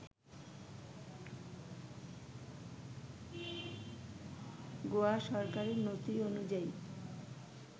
গোয়া সরকারের নথি অনুযায়ী